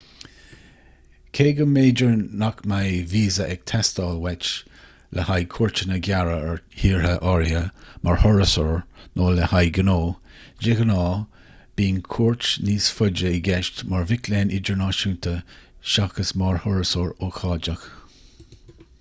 cé go mb'fhéidir nach mbeidh víosa ag teastáil uait le haghaidh cuairteanna gearra ar thíortha áirithe mar thurasóir nó le haghaidh gnó de ghnáth bíonn cuairt níos faide i gceist mar mhic léinn idirnáisiúnta seachas mar thurasóir ócáideach